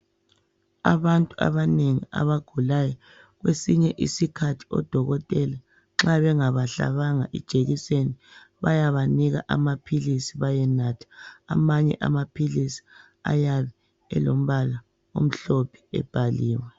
Abantu abanengi abagulayo, kwesinye isikhathi odokotela nxa bengabahlabanga ijekiseni bayabanika amaphilisi bayenatha. Amanye amaphilisi ayabe elombala omhlophe ebhaliwe.